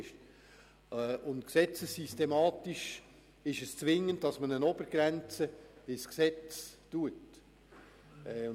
Aus Sicht der Gesetzessystematik ist es zwingend, dass man eine Obergrenze im Gesetz festhält.